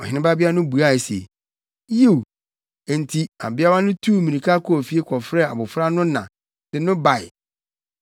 Ɔhene babea no buae se, “Yiw.” Enti, abeawa no tuu mmirika kɔɔ fie kɔfrɛɛ abofra no na de no bae.